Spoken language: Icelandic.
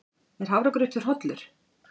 Er hafragrautur hollur?